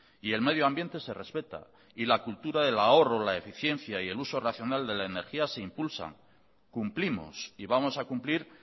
y el medio ambiente se respeta y la cultura del ahorro la eficiencia y el uso racional de la energía se impulsan cumplimos y vamos a cumplir